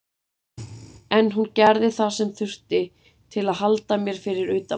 En hún gerði það sem þurfti til að halda mér fyrir utan þetta.